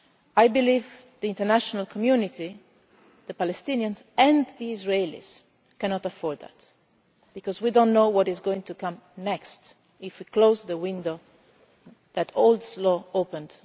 impossible. I believe the international community, the Palestinians and the Israelis cannot afford that, because we do not know what is going to come next if we close the window for peace that Oslo